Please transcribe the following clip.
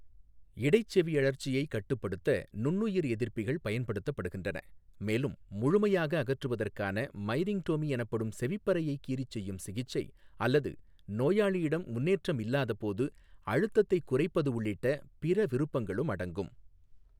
இடைச்செவியழற்சியைக் கட்டுப்படுத்த நுண்ணுயிர் எதிர்ப்பிகள் பயன்படுத்தப்படுகின்றன, மேலும் முழுமையாக அகற்றுவதற்கான மைரிங்டோமி எனப்படும் செவிப்பறையைக் கீறி செய்யும் சிகிச்சை , அல்லது நோயாளியிடம் முன்னேற்றம் இல்லாதபோது அழுத்தத்தைக் குறைப்பது உள்ளிட்ட பிற விருப்பங்களும் அடங்கும்.